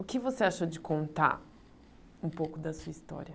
O que você achou de contar um pouco da sua história?